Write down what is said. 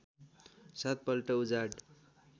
सात पल्ट उजाड